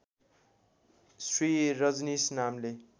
श्री रजनीश नामले